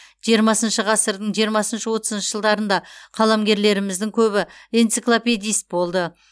жиырмасыншы ғасырдың жиырмасыншы отызыншы жылдарында қаламгерлеріміздің көбі энциклопедист болды